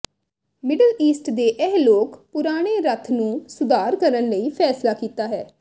middle East ਦੇ ਇਹ ਲੋਕ ਪੁਰਾਣੇ ਰੱਥ ਨੂੰ ਸੁਧਾਰ ਕਰਨ ਲਈ ਫੈਸਲਾ ਕੀਤਾ ਹੈ